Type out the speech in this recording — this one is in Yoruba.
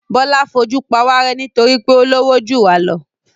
Bọ́lá fojú pawárẹ́ nítorí pé ó lówó jù wá lọ.